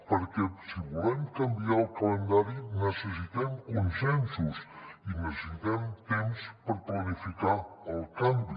perquè si volem canviar el calendari necessitem consensos i necessitem temps per planificar el canvi